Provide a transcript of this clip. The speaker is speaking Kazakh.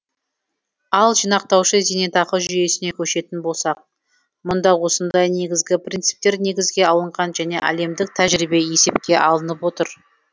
ал жинақтаушы зейнетақы жүйесіне көшетін болсақ мұнда осындай негізгі принциптер негізге алынған және әлемдік тәжірибе есепке алынып отыр